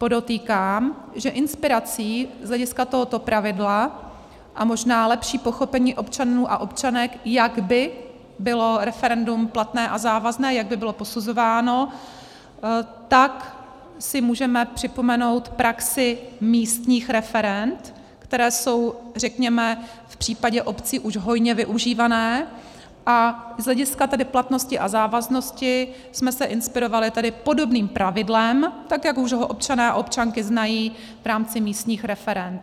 Podotýkám, že inspirací z hlediska tohoto pravidla a možná lepší pochopení občanů a občanek, jak by bylo referendum platné a závazné, jak by bylo posuzováno, tak si můžeme připomenout praxi místních referend, která jsou, řekněme, v případě obcí už hojně využívána, a z hlediska tedy platnosti a závaznosti jsme se inspirovali tedy podobným pravidlem, tak jak už ho občané a občanky znají v rámci místních referend.